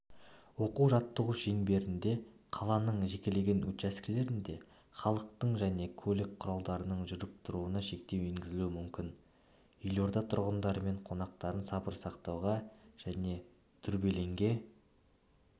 оқу-жаттығу шеңберінде қаланың жекелеген учаскелерінде халықтың және көлік құралдарының жүріп-тұруына шектеу енгізілуі мүмкін елорда тұрғындары мен қонақтарын сабыр сақтауға және дүрбелеңге